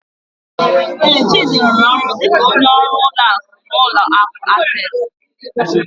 Ee, Chidi rụrụ ọrụ dịka onye ọrụ ụlọ akụ n'ụlọ akụ Access.